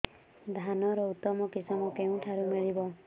ଧାନର ଉତ୍ତମ କିଶମ କେଉଁଠାରୁ ମିଳିବ